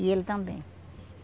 E ele também.